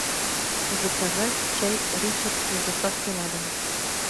заказать чай ричард с доставкой на дом